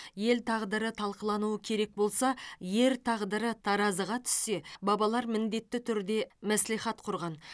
ел тағдыры талқылануы керек болса ер тағдыры таразыға түссе бабалар міндетті түрде мәслихат құрған